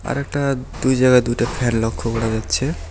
আরেকটা দুই জায়গায় দুইটা ফ্যান লক্ষ করা যাচ্ছে।